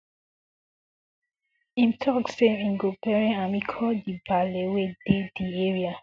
im tok say im go bury am e call di baale wey dey di area